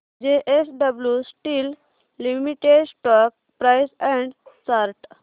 JSW steel limited stock price and chart